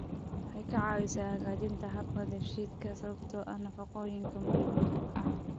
Waxay ka caawisaa hagaajinta habka dheefshiidka sababtoo ah nafaqooyinka muhiimka ah.